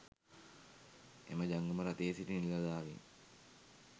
එම ජංගම රථයේ සිටි නිලධාරීන්